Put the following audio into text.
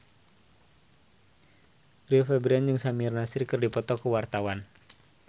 Rio Febrian jeung Samir Nasri keur dipoto ku wartawan